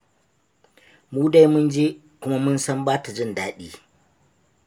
Mu dai mun je, kuma mun san ba ta jin daɗi.